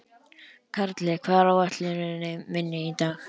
Karli, hvað er á áætluninni minni í dag?